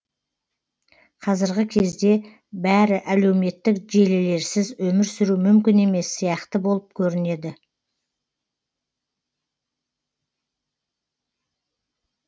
қазіргі кезде бәрі әлеуметтік желілерсіз өмір сүру мүмкін емес сияқты болып көрінеді